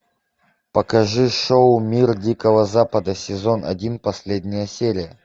покажи шоу мир дикого запада сезон один последняя серия